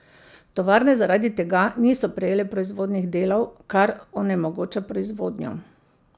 Tovarne zaradi tega niso prejele proizvodnih delov, kar onemogoča proizvodnjo.